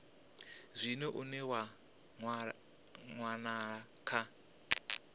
zwino une wa wanala kha